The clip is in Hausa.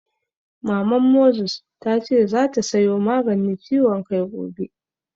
Maman Moses ta ce zata sayo Maganin ciwon kai gobe